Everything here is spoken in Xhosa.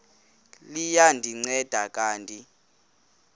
liya ndinceda kanti